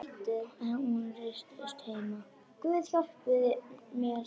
Hún ryðst inn heima.